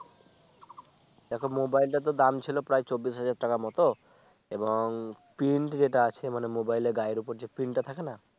দেখো Mobile টা তো দাম ছিল প্রায় চব্বিশ হাজার টাকার মত এবং Print যেটা আছে মানে Mobile র গায়ে উপর যে Print টা থাকে না